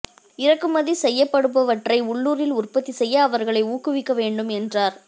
இறக்குமதி செய்யப்படுபவற்றை உள்ளூரில் உற்பத்தி செய்ய அவர்களை ஊக்குவிக்க வேண்டும் என்றார்